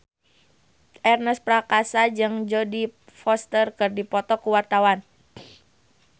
Ernest Prakasa jeung Jodie Foster keur dipoto ku wartawan